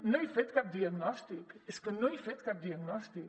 no he fet cap diagnòstic és que no he fet cap diagnòstic